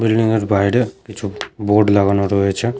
Building -এর বাইরে কিছু বোর্ড লাগানো রয়েছে ।